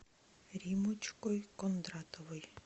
риммочкой кондратовой